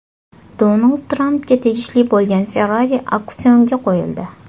Donald Trampga tegishli bo‘lgan Ferrari auksionga qo‘yildi.